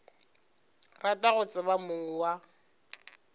rata go tseba mong wa